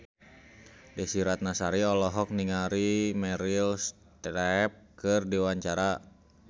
Desy Ratnasari olohok ningali Meryl Streep keur diwawancara